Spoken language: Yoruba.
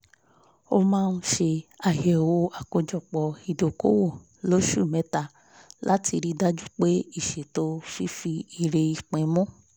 a máa ń ṣe àyẹ̀wò àkójọpọ̀ ìdókòwò lóṣù mẹ́ta láti rí dájú pé ìṣètò fífi èrè ipín mu